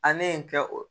A ne ye n kɛ o